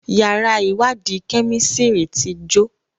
yàrá iwadi Kẹ́mísìrì tí jo.